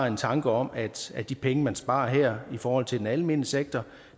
en tanke om at at de penge man sparer her i forhold til den almene sektor